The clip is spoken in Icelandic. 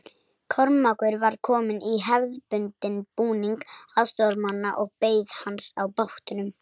Kormákur var kominn í hefðbundinn búning aðstoðarmanna og beið hans á bátnum.